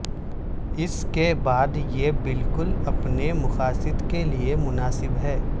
اس کے بعد یہ بالکل اپنے مقاصد کے لئے مناسب ہے